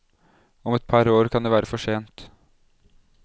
Om et par år kan det være for sent.